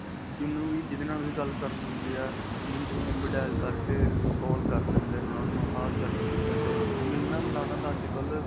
ਜਿੰਨੂੰ ਵੀ ਜਿਦੇ ਨਾਲ ਵੀ ਗੱਲ ਹੈ. minute ਵਿੱਚ ਹੀ number dial ਕਰਕੇ call ਕਰ ਲੈਂਦੇ ਉਨ੍ਹਾਂ ਨੂੰ ਹਾਲ-ਚਾਲ ਪੁੱਛਿਆ, ਚਲੋ ਜੀ ਮਿਲਣਾ-ਮਿਲਾਨਾ ਤਾਂ ਅੱਜਕਲ੍ਹ.